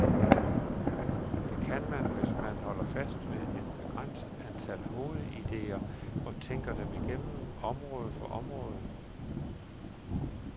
Det kan man, hvis man holder fast ved et begrænset antal hovedidéer, og tænker dem igennem, område for område.